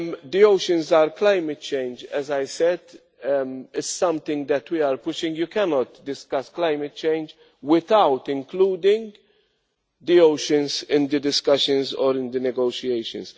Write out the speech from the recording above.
The oceans are climate change, as I said. This is something that we are pushing you cannot discuss climate change without including the oceans in the discussions or in the negotiations.